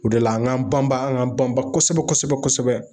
O de la an g'an banba an g'an banba kosɛbɛ kosɛbɛ kosɛbɛ